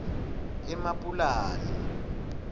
emapulani